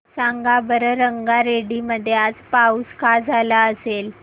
सांगा बरं रंगारेड्डी मध्ये आज पाऊस का झाला असेल